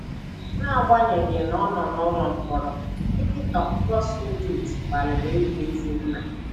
N’agbanyeghị na ọ nọ n’ụlọ mkpọrọ, Viktor Gutschmidt gbalịrị ịbụ ezi nna